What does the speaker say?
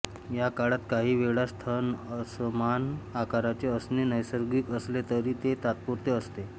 या काळात काही वेळा स्तन असमान आकाराचे असणे नैसर्गिक असले तरी ते तात्पुरते असते